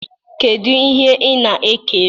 Kedu ihe ị na-ekiri